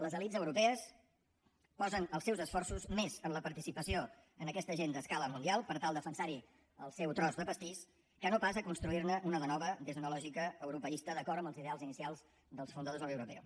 les elits europees posen els seus esforços més en la participació en aquesta agenda a escala mundial per tal de defensar hi el seu tros de pastís que no pas a construir ne una de nova des d’una lògica europeista d’acord amb els ideals inicials dels fundadors de la unió europea